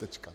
Tečka.